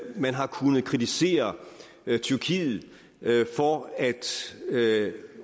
man har kunnet kritisere tyrkiet for at